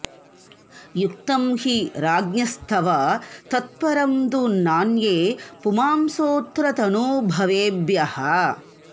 युक्तं हि राज्ञस्तव तत्परं दु नान्ये पुमांसोऽत्र तनूभवेभ्यः